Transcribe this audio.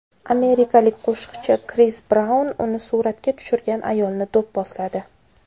Amerikalik qo‘shiqchi Kris Braun uni suratga tushirgan ayolni do‘pposladi.